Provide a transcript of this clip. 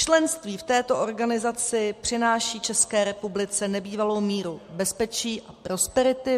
Členství v této organizaci přináší České republice nebývalou míru bezpečí a prosperity.